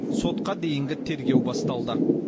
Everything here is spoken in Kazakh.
сотқа дейінгі тергеу басталды